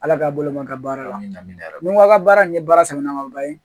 Ala ka balo n ka baara la ni ko a ka baara nin ye baara sɛmɛnnamaba ye